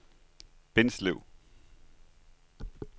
Bindslev